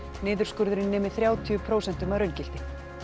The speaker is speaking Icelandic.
niðurskurðurinn nemi þrjátíu prósentum að raungildi